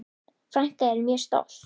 Frænka er mjög stolt.